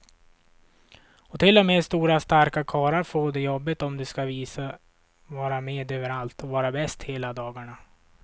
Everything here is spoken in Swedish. Och till och med stora starka karlar får det jobbigt om de ska visa, vara med överallt och vara bäst hela dagarna.